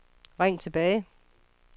ring tilbage